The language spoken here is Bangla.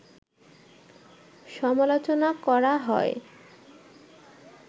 সমালোচনা করা হয়